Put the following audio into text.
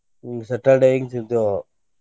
ಹಿಂಗ Saturday ಹಿಂಗ ತಿಂತೇವ.